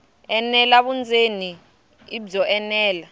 enela vundzeni i byo enela